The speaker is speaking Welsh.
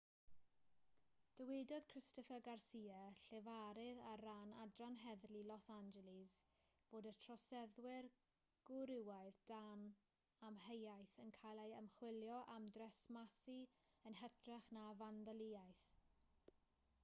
dywedodd christopher garcia llefarydd ar ran adran heddlu los angeles fod y troseddwr gwrywaidd dan amheuaeth yn cael ei ymchwilio am dresmasu yn hytrach na fandaliaeth